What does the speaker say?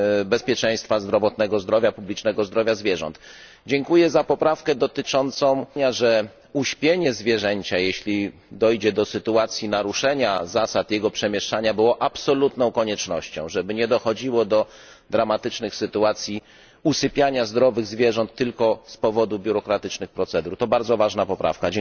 bezpieczeństwa zdrowotnego, zdrowia publicznego i zdrowia zwierząt. Dziękuję za poprawkę dodającą, że uśpienie zwierzęcia, jeśli dojdzie do sytuacji naruszenia zasad jego przemieszczania, stanowi absolutnie ostateczne rozwiązanie, żeby nie dochodziło do dramatycznych sytuacji usypiania zdrowych zwierząt tylko z powodu biurokratycznych procedur. To bardzo ważna poprawka!